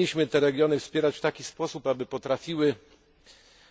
Powinniśmy te regiony wspierać w taki sposób, aby potrafiły